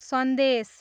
सन्देश